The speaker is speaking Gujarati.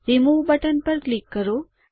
રિમૂવ બટન પર ક્લિક કરો